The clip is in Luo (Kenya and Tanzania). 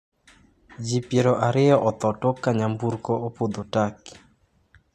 Ji piero ariyo otho tok ka nyamburko opodho turkey